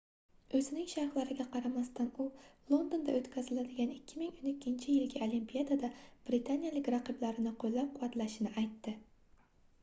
oʻzining sharhlariga qaramasdan u londonda oʻtkaziladigan 2012-yilgi olimpiadada britaniyalik raqiblarini qoʻllab-quvvatlashini aytdi